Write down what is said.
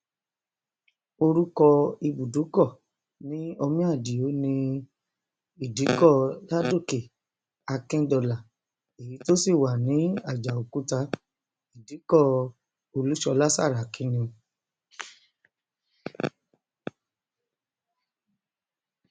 orúkọ ibùdókọ ní omiadio ní idikò ládòkè akíndọlà èyí tó sì wà ní àjàòkúta ìdìkọ olúṣọlá sàràkí ni